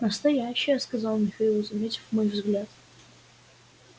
настоящие сказал михаил заметив мой взгляд